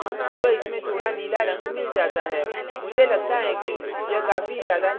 मुझे लगता है कि यह काफी ज्यादा नीला है अतः मैं अपारदर्शिता को कम करता हूँ